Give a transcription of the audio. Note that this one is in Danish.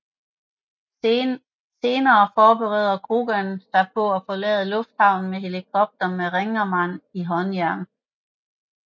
Senere forbereder Coogan sig på at forlade lufthavnen med helikopter med Ringerman i håndjern